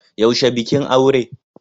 Yaushe bikin aure?